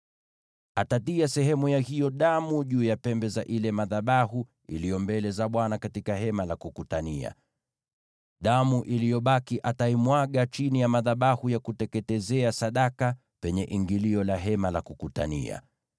Atatia sehemu ya hiyo damu juu ya pembe za madhabahu yaliyo mbele za Bwana katika Hema la Kukutania. Damu iliyobaki ataimwaga chini ya madhabahu ya kuteketezea sadaka, penye ingilio la Hema la Kukutania.